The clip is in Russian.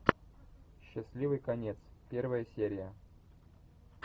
счастливый конец первая серия